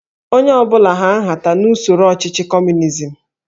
Onye ọ bụla hà nhata n'usoro ọchịchị Kọmunizm